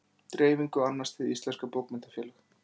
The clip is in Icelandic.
dreifingu annast hið íslenska bókmenntafélag